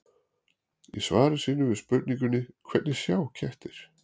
Í svari sínu við spurningunni Hvernig sjá kettir?